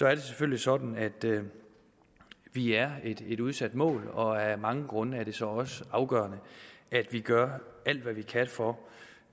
er det selvfølgelig sådan at vi er et udsat mål og af mange grunde er det så også afgørende at vi gør alt hvad vi kan for